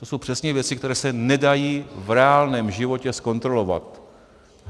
To jsou přesně věci, které se nedají v reálném životě zkontrolovat.